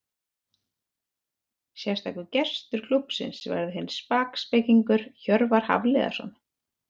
Sérstakur gestur klúbbsins verður svo sparkspekingurinn Hjörvar Hafliðason.